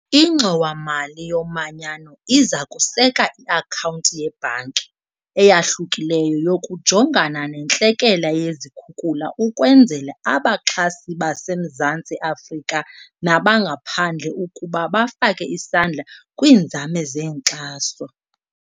Ingxowa-mali yoManyano iza kuseka i-akhawunti yebhanki eyahlukileyo yokujongana nentlekele yezikhukula ukwenzela abaxhasi baseMzantsi Afrika nabangaphandle ukuba bafake isandla kwiinzame zenkxaso.